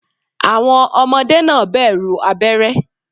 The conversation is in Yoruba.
Àwọn Ọmọdé náà bẹ̀rù abéré